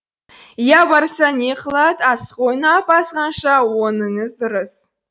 иә барса не қылад асық ойнап азғанша оныңыз дұрыс